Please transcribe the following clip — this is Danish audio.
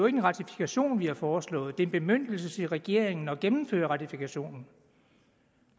en ratifikation vi har foreslået det er en bemyndigelse til regeringen til at gennemføre ratifikationen